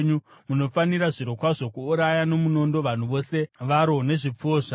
munofanira zvirokwazvo kuuraya nomunondo vanhu vose varo nezvipfuwo zvaro.